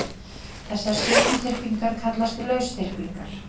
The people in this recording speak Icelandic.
Þessar stjörnuþyrpingar kallast lausþyrpingar.